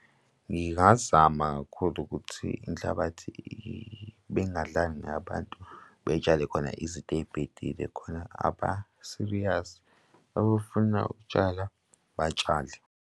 Ngingazama kakhulu ukuthi inhlabathi bengadlali ngayo abantu beyitshale khona izinto ey'bhedile khona aba-serious abafuna ukutshala batshale.